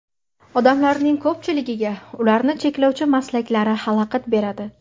Odamlarning ko‘pchiligiga ularni cheklovchi maslaklari xalaqit beradi.